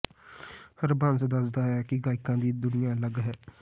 ਹਰਬੰਸ ਦੱਸਦਾ ਹੈ ਕਿ ਗਾਇਕਾਂ ਦੀ ਦੁਨੀਆਂ ਅਲੱਗ ਹੈ